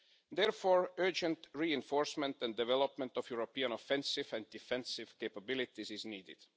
Therefore, urgent reinforcement and development of European offensive and defensive capabilities is needed.